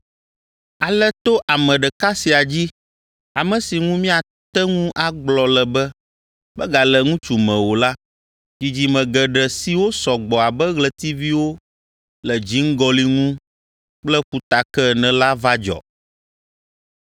Ale to ame ɖeka sia dzi, ame si ŋu míate ŋu agblɔ le be megale ŋutsu me o la, dzidzime geɖe siwo sɔ gbɔ abe ɣletiviwo le dziŋgɔli ŋu kple ƒutake ene la va dzɔ.